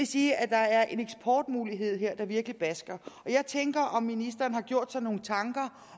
sige at der er en eksportmulighed her der virkelig batter jeg tænker på om ministeren har gjort sig nogle tanker